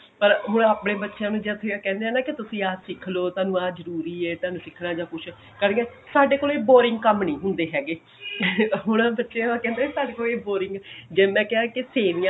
ਪਰ ਹੁਣ ਆਪਨੇ ਬੱਚਿਆ ਨੂੰ ਜੇ ਅਸੀਂ ਕਹਿੰਦੇ ਹਾਂ ਨਾ ਕਿ ਤੁਸੀਂ ਆਹ ਸਿੱਖ ਲੋ ਤੁਹਾਨੂੰ ਆਹ ਜਰੂਰੀ ਐ ਤੁਹਾਨੂੰ ਸਿੱਖਣਾ ਜਾ ਕੁੱਛ ਸਾਡੇ ਕੋਲੋ boring ਕੰਮ ਨਹੀਂ ਹੁੰਦੇ ਹੈਗੇ ਹੁਣ ਬੱਚੇ ਕਹਿੰਦੇ ਆ ਤੁਹਾਡੇ ਕੋਲ ਇਹ boring ਜੇ ਮੈਂ ਕਿਹਾ